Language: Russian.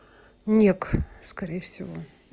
ник скорее всего